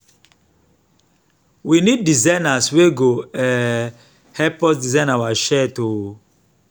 we need designers wey go um help us design our shirt um